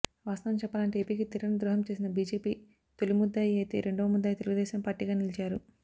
వాస్తవం చెప్పాలంటే ఏపీకి తీరని ద్రోహం చేసిన బీజేపీ తొలిముద్దాయి అయితే రెండవ ముద్దాయి తెలుగుదేశంపార్టీగా నిలిచారు